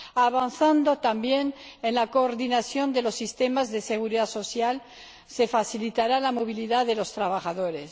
Avanzando también en la coordinación de los sistemas de seguridad social se facilitará la movilidad de los trabajadores.